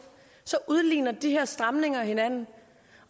og så udligner de her stramninger hinanden